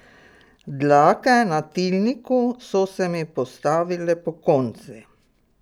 Dlake na tilniku so se mi postavile pokonci.